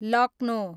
Lucknow